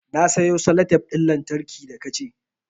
Na sayo salatef ɗin lantarki da ka ce